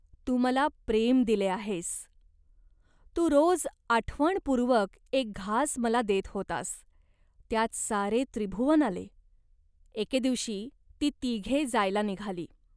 तू मला प्रेम दिले आहेस. तू रोज आठवणपूर्वक एक घास मला देत होतास, त्यात सारे त्रिभुवन आले." एके दिवशी ती तिघे जायला निघाली.